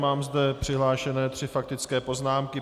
Mám zde přihlášené tři faktické poznámky.